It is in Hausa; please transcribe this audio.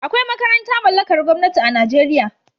Akwai makaranta mallakar gwamnati a Najeriya